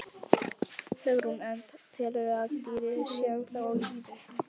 Hugrún: En telurðu að dýrið sé ennþá á lífi?